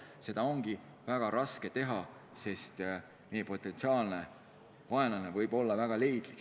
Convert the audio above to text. Seda ongi väga raske teha, sest meie potentsiaalne vaenlane võib olla väga leidlik.